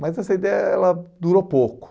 Mas essa ideia ela durou pouco.